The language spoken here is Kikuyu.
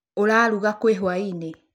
Ũraruga kĩĩ hwaĩ-inĩ?